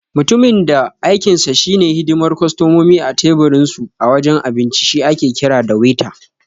Mutumin da aikinsa shi ne hidimar kostomomi a tebir dinsu a wajen abinci shi ake kira da Waiter.